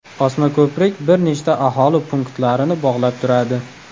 Osmako‘prik bir nechta aholi punktlarini bog‘lab turadi.